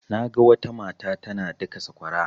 Naga wata mata tana daka sakwara.